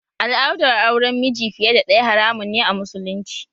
Al'adar auren miji fiye da ɗaya haramun ne a musulunci